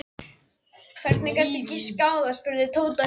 Hvernig gastu giskað á það? spurði Tóti hissa.